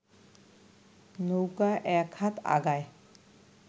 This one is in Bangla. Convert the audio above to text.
নৌকা এক হাত আগায়